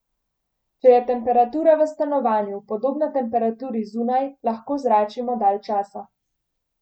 Če je temperatura v stanovanju podobna temperaturi zunaj, lahko zračimo dalj časa.